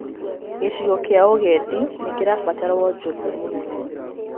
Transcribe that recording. Gĩcigo kĩa ũgendi nĩ kĩrabatara wonjoria mũnene.